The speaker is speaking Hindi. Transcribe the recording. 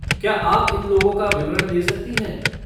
क्या आप इन लोगों का विवरण दे सकती हैं?